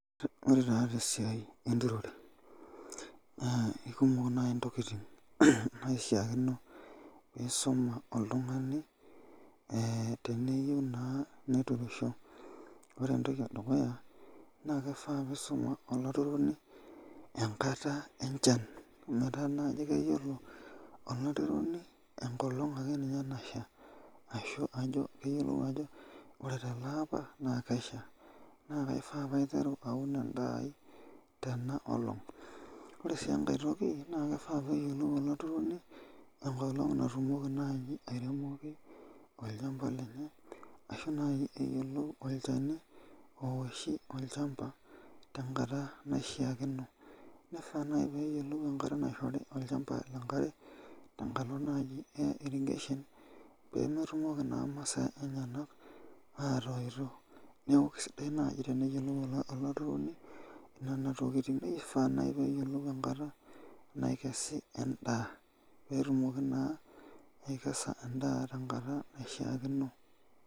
Ore taa te siaai e nturore, naa ikumok naaji ntokitin naishaakino nisuma oltungani teniyieu naaa niturisho, ore entoki e dukuyaa naa kifaa piisuma olaturroni enkata enchan meetaa naji keyiolo olaturroni enkolong akeninye nashaa, ashu ajo, niyiolou ajo kore tele apa naa Kesha neeku kifaa pauun endaa aii tenaa olong, ore enkae toki naa kifaa peeyiolou olaturroni enkolong natumoki naaji airemoki olshamba lenye ashu eyiolou olchani ooshi olshamba tenkata naishaakino, naifaa najii neyiolou enkata naishori olshamba enkare tenkalo naaji ee irrigation] peetumoki naa masaa enyena atoito, neeku kisidai naaji teneyiolou olaturroni nena tokitin neifaa sii neyiolou enkata naikesi endaa peetumoki naa aikesa endaa tenkata naishaakino.